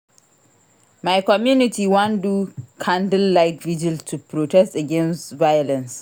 My community wan do candlelight virgil to protest against violence.